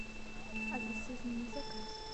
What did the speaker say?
алиса измени заказ